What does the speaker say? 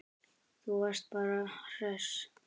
Þú varst bara hress.